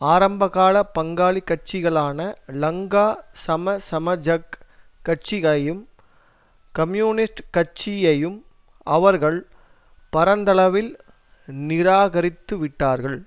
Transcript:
ஆரம்பகாலப் பங்காளி கட்சிகளான லங்கா சமசமஜக் கட்சி கையும் கம்யூனிஸ்ட் கட்சியையும் அவர்கள் பரந்தளவில் நிராகரித்துவிட்டார்கள்